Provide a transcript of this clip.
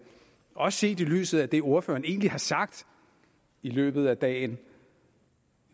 også set i lyset af det ordføreren egentlig har sagt i løbet af dagen